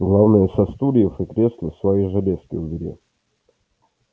главное со стульев и кресла свои железки убери